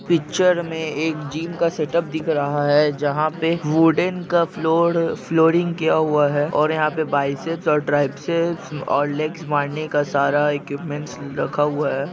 Picture मे एक gym का सेटअप दिख रहा है जहा पे वूडन का फ्लोर फ्लोरिंग किया हुआ है और यहा पर बाइसेप्स और ट्राइसेप्स और लेग्स मारने का सारा इक्विपमेंट्स रखा हुआ है।